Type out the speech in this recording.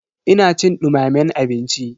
Ina cin dumamen abinci.